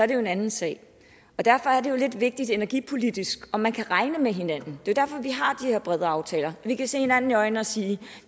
det jo en anden sag derfor er det jo lidt vigtigt energipolitisk om man kan regne med hinanden det er derfor vi har her brede aftaler vi kan se hinanden i øjnene og sige